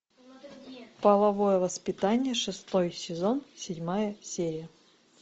половое воспитание шестой сезон седьмая серия